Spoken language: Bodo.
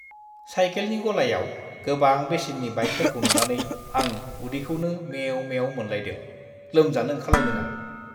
साइकेलनि गलायाव गोबां बेसेननि बाइकफोरखौ नुनानै आं उदैखौनो मेव-मेव मोनलायदों। लोमजानो ओंखारलायदों आं।